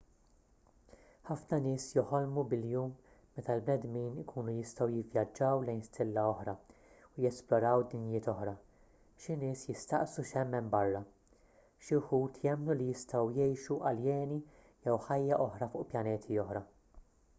ħafna nies joħolmu bil-jum meta l-bnedmin ikunu jistgħu jivvjaġġaw lejn stilla oħra u jesploraw dinjiet oħra xi nies jistaqsu x'hemm hemm barra xi wħud jemmnu li jistgħu jgħixu aljeni jew ħajja oħra fuq pjaneta oħra